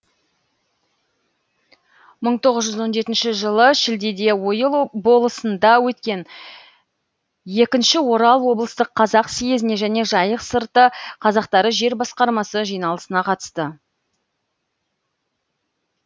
мың тоғыз жүз он жетінші жылы шілдеде ойыл болысында өткен екінші орал облыстық қазақ съезіне және жайық сырты қазақтары жер басқармасы жиналысына қатысты